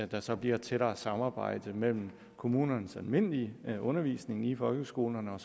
der så bliver et tættere samarbejde mellem kommunernes almindelige undervisning i folkeskolerne og